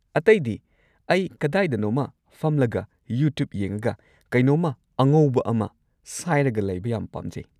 ꯑꯇꯩꯗꯤ, ꯑꯩ ꯀꯗꯥꯏꯗꯅꯣꯝꯃ ꯐꯝꯂꯒ ꯌꯨꯇ꯭ꯌꯨꯕ ꯌꯦꯡꯉꯒ ꯀꯦꯅꯣꯝꯃ ꯑꯉꯧꯕ ꯑꯃ ꯁꯥꯏꯔꯒ ꯂꯩꯕ ꯌꯥꯝ ꯄꯥꯝꯖꯩ꯫